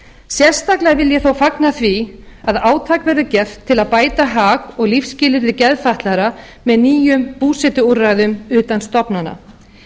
sérstaklega vil ég þó fagna því að átak verður gert til að bæta hag og lífsskilyrði geðfatlaðra með nýjum búsetuúrræðum utan stofnana